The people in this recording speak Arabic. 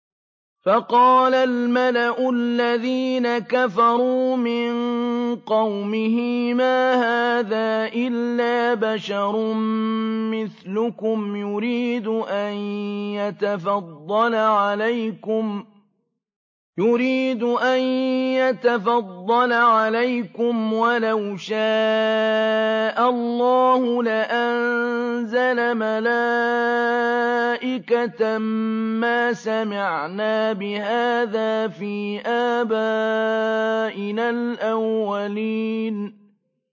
فَقَالَ الْمَلَأُ الَّذِينَ كَفَرُوا مِن قَوْمِهِ مَا هَٰذَا إِلَّا بَشَرٌ مِّثْلُكُمْ يُرِيدُ أَن يَتَفَضَّلَ عَلَيْكُمْ وَلَوْ شَاءَ اللَّهُ لَأَنزَلَ مَلَائِكَةً مَّا سَمِعْنَا بِهَٰذَا فِي آبَائِنَا الْأَوَّلِينَ